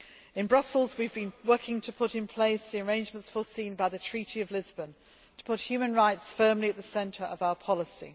In Brussels, we have been working to put in place the arrangements foreseen by the Treaty of Lisbon to put human rights firmly at the centre of our policy.